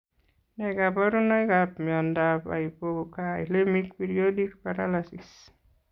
Nee kaparunoik ap miondap hypokaelemic periodic paralysis?